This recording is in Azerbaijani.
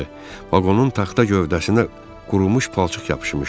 Vaqonun taxta gövdəsinə qurumuş palçıq yapışmışdı.